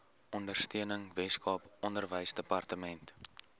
ondersteuning weskaap onderwysdepartement